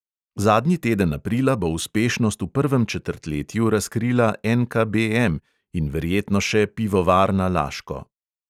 Zadnji teden aprila bo uspešnost v prvem četrtletju razkrila NKBM in verjetno še pivovarna laško.